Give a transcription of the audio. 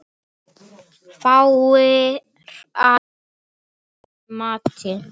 Falskar fréttir eru ekkert nýtt.